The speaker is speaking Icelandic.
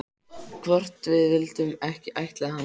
Hvort við vildum ekki ættleiða hana?